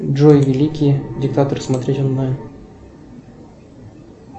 джой великий диктатор смотреть онлайн